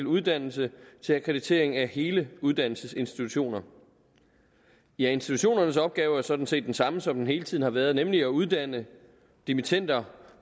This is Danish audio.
uddannelse til akkreditering af hele uddannelsesinstitutioner ja institutionernes opgave er sådan set den samme som den hele tiden har været nemlig at uddanne dimittender